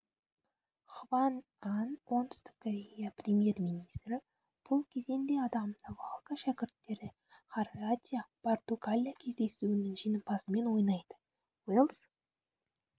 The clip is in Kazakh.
хван ан оңтүстік корея премьер-министрі бұл кезеңде адам навалка шәкірттері хорватия португалия кездесуінің жеңімпазымен ойнайды уэльс